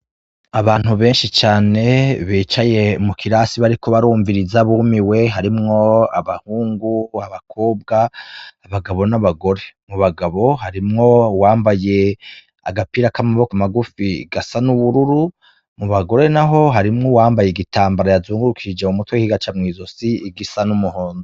Abantu benshi cane bicaye mu kirasi bariko barumviriza bumiwe harimwo abahungu, abakobwa, abagabo, n'abagore, mu bagabo harimwo uwambaye agapira k'amaboko magufi gasa n'ubururu, mu bagore, naho harimwo uwambaye igitambara yazungurukije mu mutwe kigaca mw'izosi gisa n'umuhondo.